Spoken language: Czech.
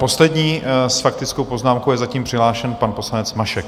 Poslední s faktickou poznámkou je zatím přihlášen pan poslanec Mašek.